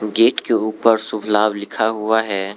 Gate के ऊपर शुभ लाभ लिखा हुआ है।